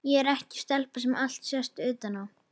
Ég er ekki stelpa sem allt sést utan á.